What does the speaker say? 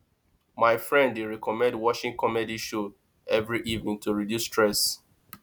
my friend dey recommend watching comedy show every evening to reduce stress